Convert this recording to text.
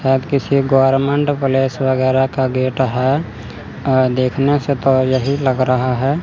शायद किसी government place वगैरा का गेट है अ देखने से तो यही लग रहा है।